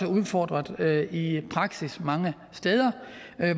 udfordret i praksis mange steder